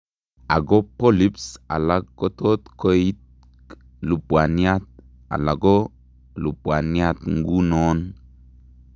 Ako polyps alak kotot koik lubwaniat ala ko lubwaniat ng'unoon